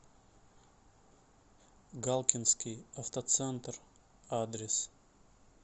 галкинский автоцентр адрес